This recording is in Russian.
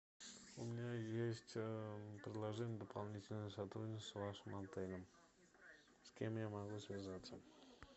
у меня есть предложение о дополнительном сотрудничестве с вашим отелем с кем я могу связаться